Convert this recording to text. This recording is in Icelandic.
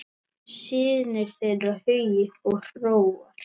Synir þeirra Hugi og Hróar.